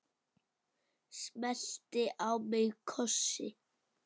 Smellti á mig kossi.